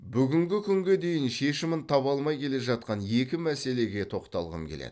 бүгінгі күнге дейін шешімін таба алмай келе жатқан екі мәселеге тоқталғым келеді